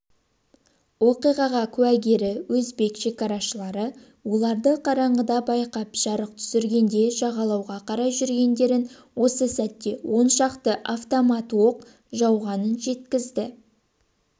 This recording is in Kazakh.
оқиға куәгері өзбек шекарашылары оларды қараңғыда байқап жарық түсіргенде жағалауға қарай жүзгендерін осы сәтте он шақты автоматтаноқ жауғанын жеткізді